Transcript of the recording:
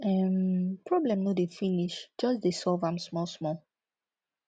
um problem no dey finish jus dey solve am small small